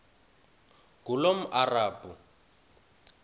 ngulomarabu